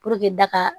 daga